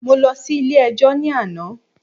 Mo lọ sí ilé ẹjọ́ ní àná.